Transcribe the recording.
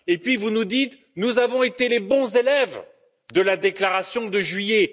Et puis vous nous dites nous avons été les bons élèves de la déclaration de juillet.